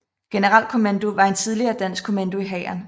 Generalkommando var en tidligere dansk kommando i Hæren